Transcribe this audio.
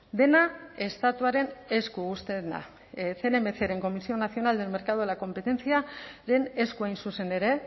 dena estatuaren esku uzten da cnmcren comisión nacional del mercado de la competenciaren esku hain zuzen ere